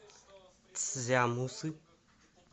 цзямусы